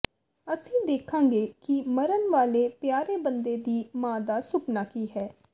ਅਸੀਂ ਦੇਖਾਂਗੇ ਕਿ ਮਰਨ ਵਾਲੇ ਪਿਆਰੇ ਬੰਦੇ ਦੀ ਮਾਂ ਦਾ ਸੁਪਨਾ ਕੀ ਹੈ